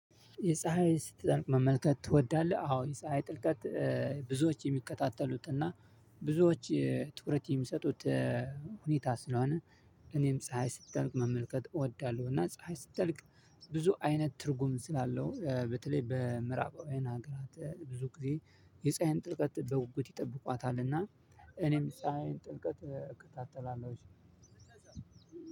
የፀሀይ ስትጠልቅ መመልከት ትወዳለህ? አዎ የፀሀይ ጥልቀት። ብዙዎች የሚከታተሉት እና ብዙዎች ትኩረት የሚሰጡት ሁኔታ ስለሆነ እኔም ፀሀይ ስትጠልቅ መመልከት እወዳለሁ። እና ፀሀይ ስትጠልቅ ብዙ አይነት ትርጉም ስላለው በተለይ በምዕራባውያን ሀገራት ብዙ ጊዜ የፀሀይን ጥልቀት በጉጉት ይጠብቋታልና። እኔም የፀሀይን ጥልቀት እከታተላለሁኝ።